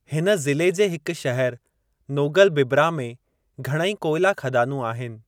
हिन ज़िले जे हिक शहर नोगलबिब्रा में घणईं कोयला ख़दानू आहिनि।